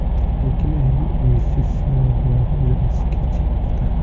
Lekin ayrim investitsiya loyihalari ijrosi kechikmoqda.